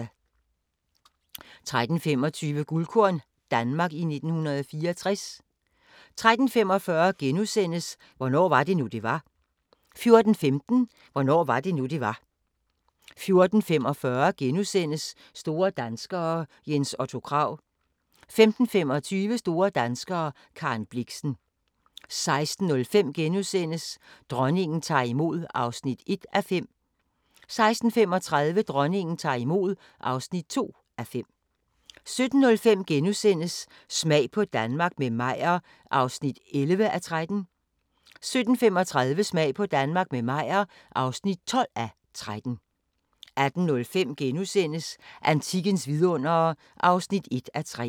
13:25: Guldkorn - Danmark i 1964 13:45: Hvornår var det nu, det var? * 14:15: Hvornår var det nu, det var? 14:45: Store Danskere – Jens Otto Krag * 15:25: Store danskere - Karen Blixen 16:05: Dronningen tager imod (1:5)* 16:35: Dronningen tager imod (2:5) 17:05: Smag på Danmark – med Meyer (11:13)* 17:35: Smag på Danmark – med Meyer (12:13) 18:05: Antikkens vidundere (1:3)*